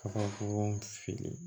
Ka bɔgɔ feere